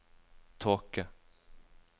tåke